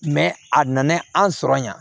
a nana an sɔrɔ yan